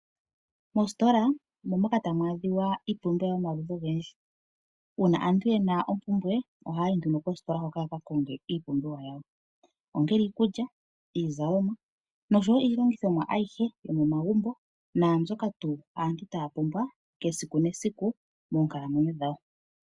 Mositola omo moka tamu adhika iipumbiwa yomaludhi ogendji. Uuna aantu ye na ompumbwe ohaya yi nduno kositola hoka ya ka konge iipumbiwa yawo, ongele iikulya, iizalomwa nosho wo iilongithomwa ayihe yomomagumbo naambyoka tuu aantu taya pumbwa esiku nesiku moonkalamwenyo dhawo.